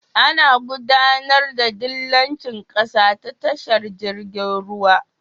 Ana gudAnar da dillanci ƙasa ta tashar jirgin ruwa